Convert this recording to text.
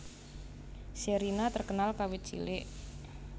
Sherina terkenal kawit cilik